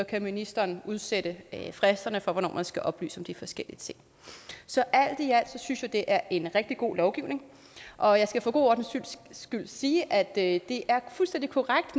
kan ministeren udsætte fristerne for hvornår man skal oplyse om de forskellige ting så alt i alt synes jeg at det er en rigtig god lovgivning og jeg skal for god ordens skyld sige at det er fuldstændig korrekt